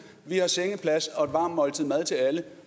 vi har sengeplads og et varmt måltid mad til alle